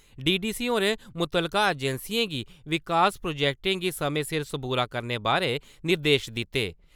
DDC होरें मुतलका एजेंसियें गी विकास प्रोजेक्ट गी समें सिर सबूरा करने बारै निर्देश दिते।